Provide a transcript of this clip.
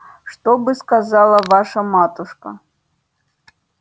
что бы сказала ваша матушка